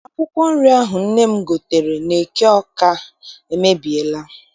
Akwụkwọ nri ahụ nne m gotere n'eke Awka emebiela.